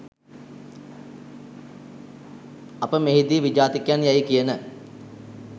අප මෙහිදී විජාතිකයන් යැයි කියන